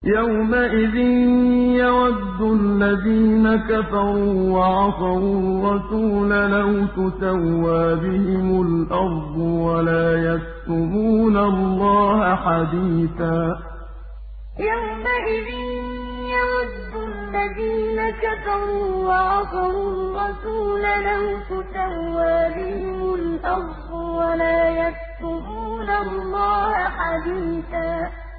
يَوْمَئِذٍ يَوَدُّ الَّذِينَ كَفَرُوا وَعَصَوُا الرَّسُولَ لَوْ تُسَوَّىٰ بِهِمُ الْأَرْضُ وَلَا يَكْتُمُونَ اللَّهَ حَدِيثًا يَوْمَئِذٍ يَوَدُّ الَّذِينَ كَفَرُوا وَعَصَوُا الرَّسُولَ لَوْ تُسَوَّىٰ بِهِمُ الْأَرْضُ وَلَا يَكْتُمُونَ اللَّهَ حَدِيثًا